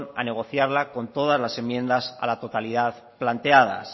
a negociarla con todas las enmiendas a la totalidad planteadas